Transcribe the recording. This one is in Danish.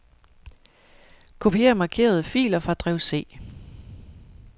Kopier markerede filer fra drev C.